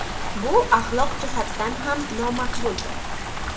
Bu axloq jihatdan ham nomaqbuldir.